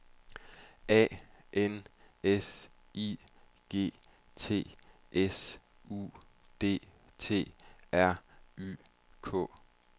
A N S I G T S U D T R Y K